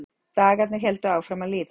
Dagarnir héldu áfram að líða.